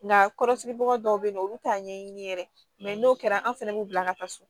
Nka kɔrɔsigibaga dɔw bɛ yen nɔ olu t'a ɲɛɲini yɛrɛ n'o kɛra an fana b'u bila ka taa so